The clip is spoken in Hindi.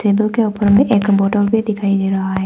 टेबल के ऊपर में एक बॉटल भी दिखाई दे रहा है।